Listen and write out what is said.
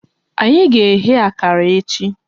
Anyị ga eghe akara echi